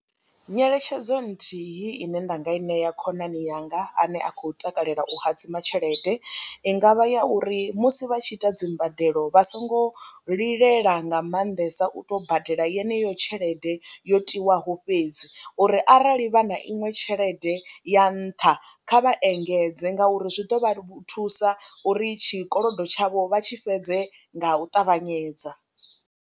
Nyeletshedzo nthihi ine nda nga i ṋea khonani yanga ane a khou takalela u hadzima tshelede i nga vha ya uri musi vha tshi ita dzi mbadelo vha songo lilela nga maanḓesa u tou badela yeneyo tshelede yo tiwaho fhedzi uri arali vha na iṅwe tshelede ya nṱha kha vha engedze ngauri zwi ḓo vha thusa uri tshikolodo tshavho vha tshi fhedze nga u ṱavhanyedza.